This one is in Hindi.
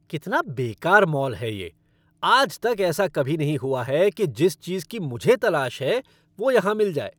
कितना बेकार मॉल है ये। आज तक ऐसा कभी नहीं हुआ है कि जिस चीज़ की मुझे तलाश है, वो यहाँ मिल जाए।